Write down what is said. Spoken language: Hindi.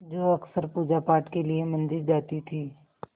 जो अक्सर पूजापाठ के लिए मंदिर जाती थीं